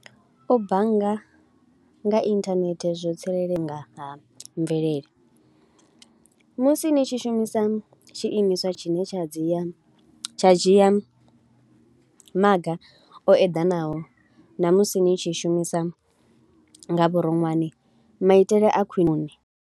U bannga nga internet zwo tsireledzea nga ha mvelele. Musi ni tshi shumisa tshiimiswa tshine tsha dzia, tsha dzhia maga o eḓanaho na musi ni tshi shumisa nga vhuroṅwane maitele a khwiṋe.